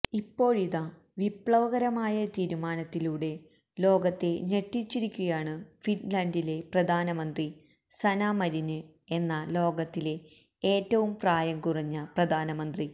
ഇപ്പോഴിതാ വിപ്ലവകരമായ തീരുമാത്തിലൂടെ ലോകത്തെ ഞെട്ടിച്ചിരിക്കുകയാണ് ഫിന്ലന്ഡിലെ പ്രധാനമന്ത്രി സന്ന മരിന് എന്ന ലോകത്തിലെ ഏറ്റവും പ്രായം കുറഞ്ഞ പ്രധാനമന്ത്രി